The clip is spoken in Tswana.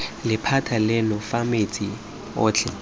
lephata leno fa metsi otlhe